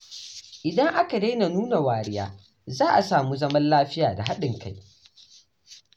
Idan aka daina nuna wariya, za a samu zaman lafiya da haɗin kai.